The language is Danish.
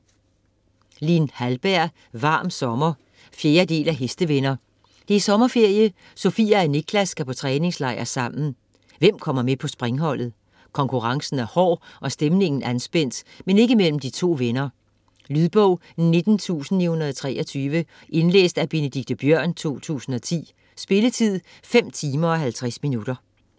Hallberg, Lin: Varm sommer 4. del af Hestevenner. Det er sommerferie, Sofia og Niklas skal på træningslejr sammen. Hvem kommer med på springholdet? Konkurrencen er hård og stemningen er anspændt, men ikke mellem de to venner. Lydbog 19923 Indlæst af Benedikte Biørn, 2010. Spilletid: 5 timer, 50 minutter.